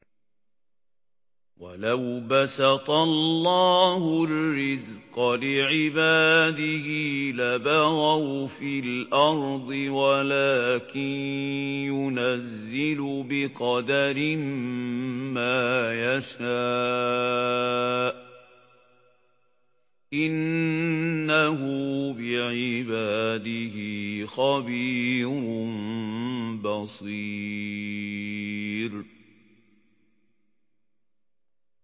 ۞ وَلَوْ بَسَطَ اللَّهُ الرِّزْقَ لِعِبَادِهِ لَبَغَوْا فِي الْأَرْضِ وَلَٰكِن يُنَزِّلُ بِقَدَرٍ مَّا يَشَاءُ ۚ إِنَّهُ بِعِبَادِهِ خَبِيرٌ بَصِيرٌ